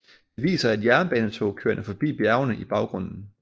Det viser et jernbanetog kørende forbi bjergene i baggrunden